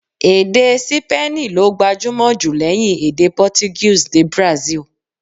Èdè Sípéènì ló gbajúmò jù lẹ́yìn èdè Portuguese ní Brazil.